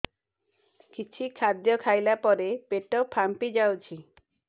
କିଛି ଖାଦ୍ୟ ଖାଇଲା ପରେ ପେଟ ଫାମ୍ପି ଯାଉଛି